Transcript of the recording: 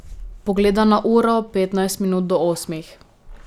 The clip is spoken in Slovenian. Pogleda na uro, petnajst minut do osmih.